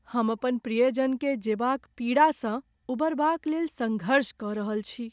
हम अपन प्रियजन के जेबा क पीड़ा सँ उबरबाक लेल संघर्ष कऽ रहल छी।